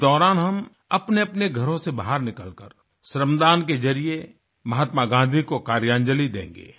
इस दौरान हम अपनेअपने घरों से बाहर निकल कर श्रमदान के ज़रिये महात्मा गाँधी को कार्यांजलि देंगे